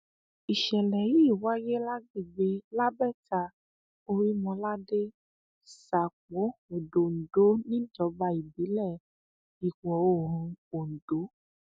um ìṣẹlẹ yìí wáyé lágbègbè labẹta orímọládé um sápó odòńdó níjọba ìbílẹ ìwọoòrùn ondo